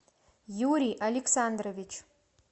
юрий александрович